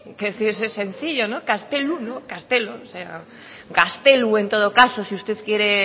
que decir es sencillo ni castelu no castelo o sea gastelu en todo caso si usted quiere